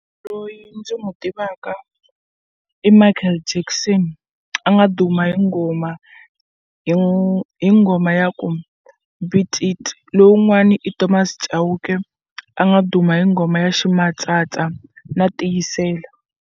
Loyi ndzi n'wu tivaka Michael Jackson a nga duma hi nghoma hi hi nghoma ya ku beat it lowun'wani i Thomas Chauke a nga duma hi nghoma ya ximatsatsa na tiyisela.